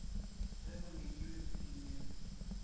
ge go nyakilwe ke dinepo